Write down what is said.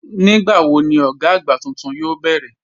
Nígbàwọ̀ ni ọ̀gá agbá túntún yoo bẹ̀rẹ̀?